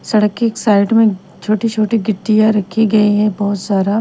सड़क की साइड में छोटी-छोटी गिट्टियां रखी गई है बहुत सारा--